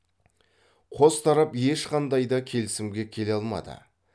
қос тарап ешқандай да келісімге келе алмады